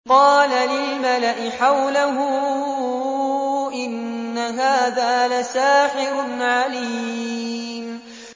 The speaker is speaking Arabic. قَالَ لِلْمَلَإِ حَوْلَهُ إِنَّ هَٰذَا لَسَاحِرٌ عَلِيمٌ